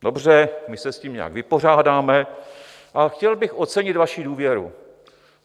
Dobře, my se s tím nějak vypořádáme, ale chtěl bych ocenit vaši důvěru.